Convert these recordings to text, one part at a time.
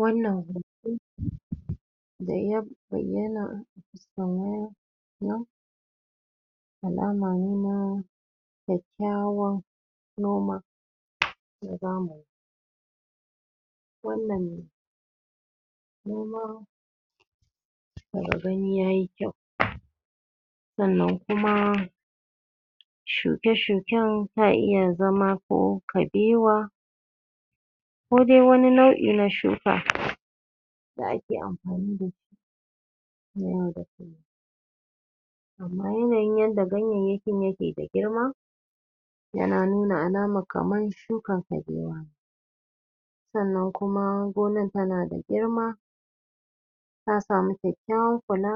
Wannan hoto da ya bayyana alama ne na kyakkyawan noma na zamani wannan noma daga gani ya yi kyau sannan kuma shuke -shuken sa iya zama ko kabewa kodai wani nau'i na shuka da ake amfani dashi na yau da kullum amma yanayin yadda ganyayyakin yake da girma yana nuna alamar kamar shukan kabewa sannan kuma gonar tana da girma ta samu kyakkyawar kula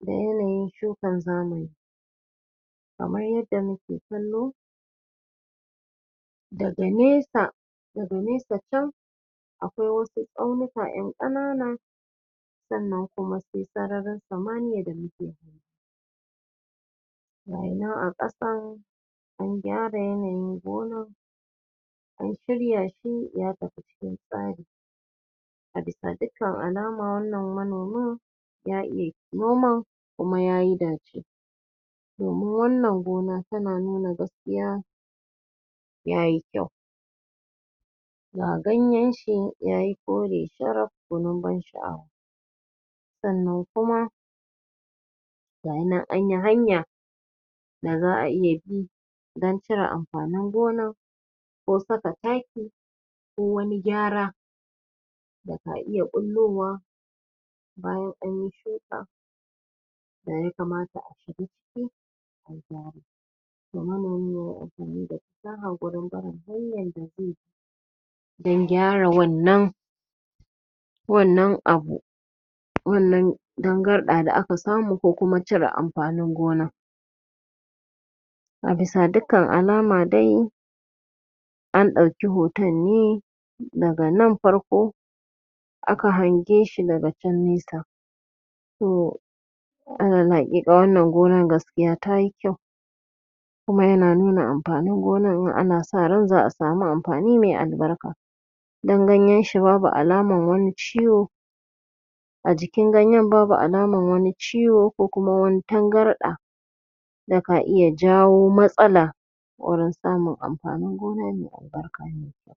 da yanayin shukan zamani kamar yadda muke kallo gada nesa daga nesa can akwai wasu tsaunika ƴan ƙanana sannan kuma sai sararin samiya da muke gayanan a ƙasa an gyara yanayin gonar an shirya shi ya tafi cikin tsari a bisa dukkan alama wannan manomi ya iya noman kuma ya yi dace domin wannan gona tana nuna gaskiya ya yi kyau ga gayen shi ya yi kore sharaf gwanin ban sha'awa sannan kuma gayanan an yi hanya da za a iya bi don cire amfanin gona ko saka taki ko wani gyara da ka iya ɓullowa bayan an yi shuka da ya kamata a shiga ciki ga manomi ya yi amfani da fasaha wurin barin hanyar da zai dan gyara wannan wannan abu wannan dangarɗa da aka samu ko kuma cire amfanin gona a bisa dikkan alama dai an ɗauki hoton ne daga nan farko aka hange shi daga can nesa to alal haƙiƙa gaskiya wannan gonar ta yi kyau kuma yana nuna amfanin gonar za a samu amfani mai albarka dan ganyen shi babu alaman wani ciwo a jikin ganyen babu alaman wani ciwo ko kuma wani tangarɗa da ka iya jawo matsala wurin samun amfanin gona mai albarka mai kyau